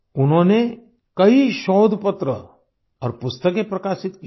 उन्होंने कई शोध पत्र और पुस्तकें प्रकाशित की हैं